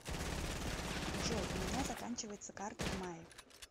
джой у меня заканчивается карта в мае